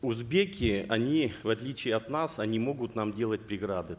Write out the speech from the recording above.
узбеки они в отличие от нас они могут нам делать преграды